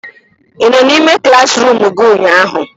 Ị nọ n'ime klaasịruum gị ụnyaahụ?